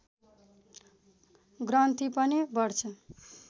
ग्रन्थि पनि बढ्छ